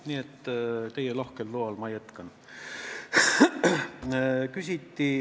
Nii et teie lahkel loal ma jätkan.